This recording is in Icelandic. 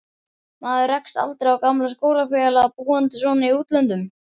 Maður rekst aldrei á gamla skólafélaga, búandi svona í útlöndum.